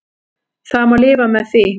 Það má lifa með því.